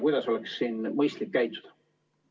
Kuidas oleks mõistlik käituda?